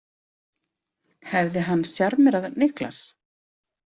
Hefði hann sjarmerað Niklas?